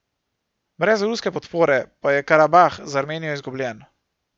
Brez ruske podpore pa je Karabah za Armenijo izgubljen.